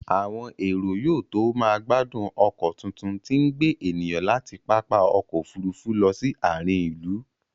Àwọn èrò yóò tó máa gbádùn ọkọ tuntun tí ń gbé ènìyàn láti pápá ọkọ̀ Òfurufú lọ sí àárín ìlú